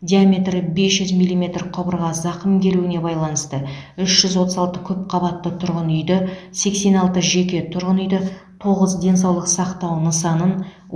диаметрі бес жүз миллиметр құбырға зақым келуіне байланысты үш жүз отыз алты көпқабатты тұрғын үйді сексен алты жеке тұрғын үйді тоғыз денсаулық сақтау нысанын